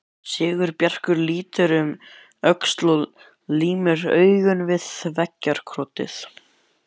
Sigurbjartur lítur um öxl og límir augun við veggjakrotið.